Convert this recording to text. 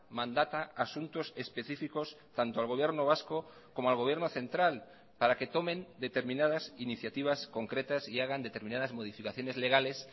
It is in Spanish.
mandata asuntos específicos tanto al gobierno vasco como al gobierno central para que tomen determinadas iniciativas concretas y hagan determinadas modificaciones legales